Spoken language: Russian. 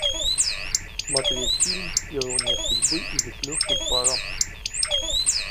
смотреть фильм ирония судьбы или с легким паром